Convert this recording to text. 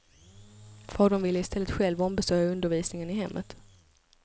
Fadern ville i stället själv ombesörja undervisningen i hemmet.